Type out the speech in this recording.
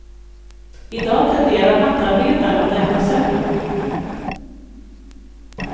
I dag tenderar nattarbetare att äta sämre.